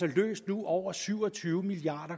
løst over syv og tyve milliard